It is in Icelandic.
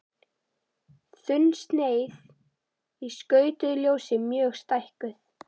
Þunnsneið í skautuðu ljósi mjög stækkuð.